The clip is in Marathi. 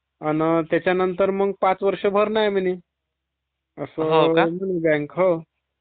अन त्याच्यानंतर मग पाच वर्ष भरण आहे म्हणे असं बॅंक म्हणे